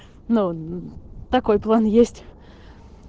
но такой план есть